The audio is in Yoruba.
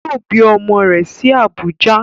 Yoo bi ọmọ rẹ̀ sí Abùjá